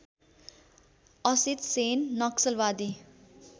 Asit Sen नक्सलवादी